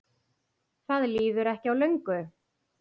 Það líður ekki á löngu.